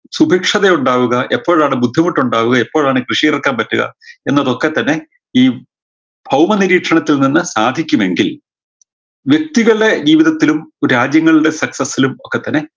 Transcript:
സുഭിക്ഷത ഉണ്ടാവുക എപ്പോഴാണ് ബുദ്ധിമുട്ടുണ്ടാവുക എപ്പോഴാണ് കൃഷി ഇറക്കാൻ പറ്റുക എന്നതൊക്കെ തന്നെ ഈ ഭൗമനിരീക്ഷണത്തിൽ നിന്ന് സാധിക്കുമെങ്കിൽ വ്യക്തികൾടെ ജീവിതത്തിലും രാജ്യങ്ങൾടെ success ലും ഒക്കെ തന്നെ